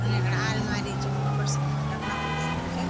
उने खणा आलमारी च वख अपड सामान रखना खुन धर्यु च।